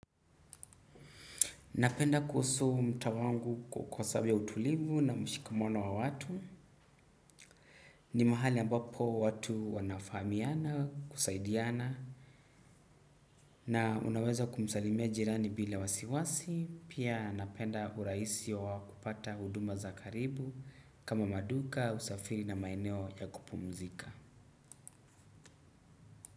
Napenda kuhusuu mtawangu kwa sabi ya utulivu na mshikamano wa watu. Ni mahali ambapo watu wanafahamiana, kusaidiana na unaweza kumsalimia jirani bila wasiwasi. Pia napenda uraisi wa wakupata uduma za karibu kama maduka usafiri na maeneo ya kupumuzika.